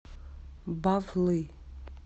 бавлы